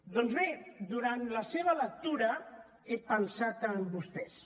doncs bé durant la seva lectura he pensat en vostès